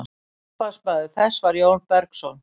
upphafsmaður þess var jón bergsson